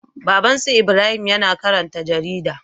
Babban su Ibrahim yAna karanta jarida